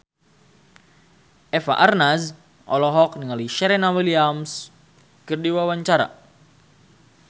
Eva Arnaz olohok ningali Serena Williams keur diwawancara